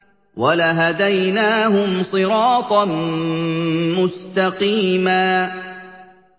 وَلَهَدَيْنَاهُمْ صِرَاطًا مُّسْتَقِيمًا